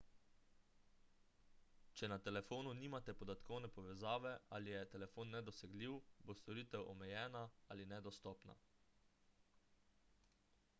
če na telefonu nimate podatkovne povezave ali je telefon nedosegljiv bo storitev omejena ali nedostopna